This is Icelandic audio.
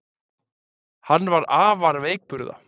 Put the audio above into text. Hann var afar veikburða